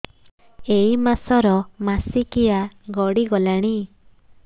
ଏଇ ମାସ ର ମାସିକିଆ ଗଡି ଗଲାଣି